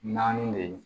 Naani de ye